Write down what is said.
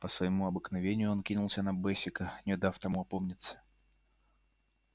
по своему обыкновению он кинулся на бэсика не дав тому опомниться